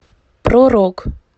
про рок